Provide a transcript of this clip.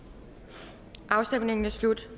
der afstemningen er slut